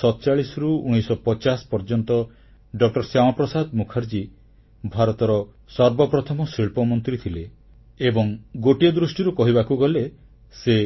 1947ରୁ 1950 ପର୍ଯ୍ୟନ୍ତ ଡ ଶ୍ୟାମାପ୍ରସାଦ ମୁଖାର୍ଜୀ ଭାରତର ସର୍ବପ୍ରଥମ ଶିଳ୍ପମନ୍ତ୍ରୀ ଥିଲେ ଏବଂ ଗୋଟିଏ ଦୃଷ୍ଟିରୁ କହିବାକୁ ଗଲେ ସେ